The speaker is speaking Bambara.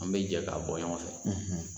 An bɛ jɛ k'a bɔ ɲɔgɔn fɛ